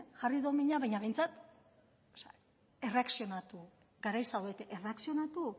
baina behintzat erreakzionatu garai zaudete erreakzionatu